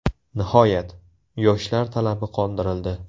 Nihoyat, yoshlar talabi qondirildi.